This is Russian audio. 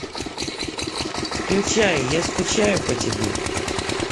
включай я скучаю по тебе